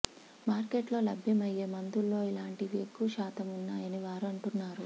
మార్కెట్లో లభ్యమయ్యే మందుల్లో ఇలాంటివి ఎక్కువ శాతం ఉన్నాయని వారు అంటున్నారు